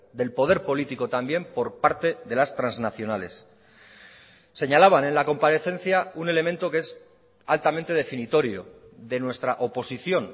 del poder político también por parte de las transnacionales señalaban en la comparecencia un elemento que es altamente definitorio de nuestra oposición